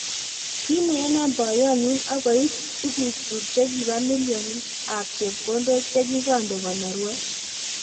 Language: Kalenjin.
kimweeno poyot nyu akoip tukuk chuk chekipio milionik ab chepkondok chekikande konorwet